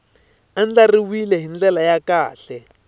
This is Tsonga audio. andlariwile hi ndlela ya kahle